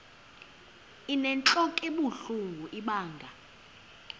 inentlok ebuhlungu ibanga